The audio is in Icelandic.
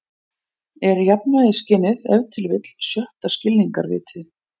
„er jafnvægisskynið ef til vill sjötta skilningarvitið“